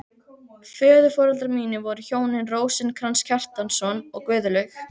Föðurforeldrar mínir voru hjónin Rósinkrans Kjartansson og Guðlaug